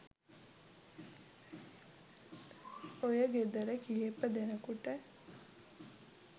ඔය ගෙදර කිහිප දෙනෙකුට